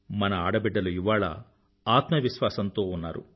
మన ఈ ఆడబిడ్డలు ఇవాళ ఆత్మ విశ్వాసంతో ఉన్నారు